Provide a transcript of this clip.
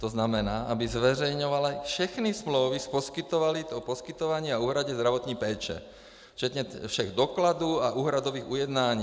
To znamená, aby zveřejňovaly všechny smlouvy o poskytování a úhradě zdravotní péče, včetně všech dokladů a úhradových ujednání.